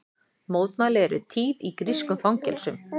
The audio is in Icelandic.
Mótmæli eru tíð í grískum fangelsum